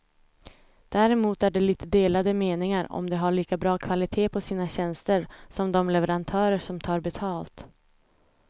Däremot är det lite delade meningar om de har lika bra kvalitet på sina tjänster som de leverantörer som tar betalt.